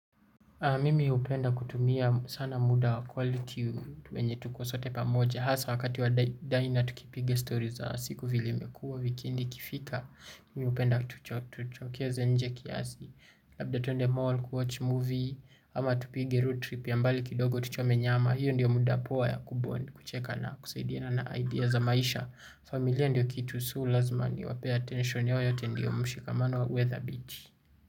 Mimi hupenda kutumia sana muda wa kwaliti wenye tuko sote pamoja. Hasa wakati wa daina tukipiga story za siku vile imekuwa wikendi ikifika. Mimi hupenda tucho tuchokeze nje kiasi. Labda twende mall, kuwatch movie, ama tupige road trip ya mbali kidogo tuchome nyama. Hiyo ndio muda poa ya kubond kucheka na kusaidiana na idea za maisha. Familia ndio kitu so lazima niwape attention yao yote ndio mshikamano uwe dhabiti.